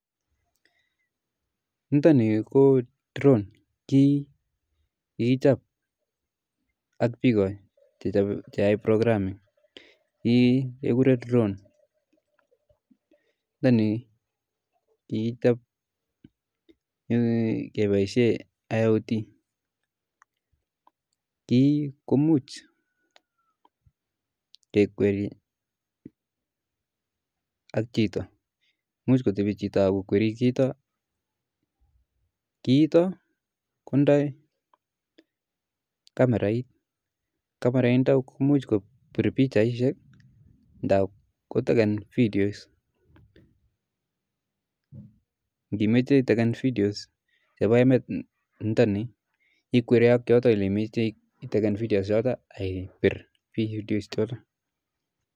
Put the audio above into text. nitoni ko drone, kiiy kikichop ak piik che ae programming. kiiy kekure drone ne ko kiichop kepaishe AOT .kii komuch kekweri ak chito. imuch kotepi chito akokweri kiitok kotindoi kamerait . kamerait nitok komuch kopir pichaishek ndap koteken videos ngimache itekan videos chepa emet nito'ni ikweri akoi yotok ole imoche akipir video chotok.